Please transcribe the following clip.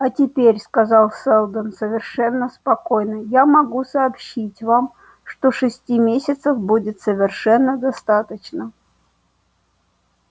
а теперь сказал сэлдон совершенно спокойно я могу сообщить вам что шести месяцев будет совершенно достаточно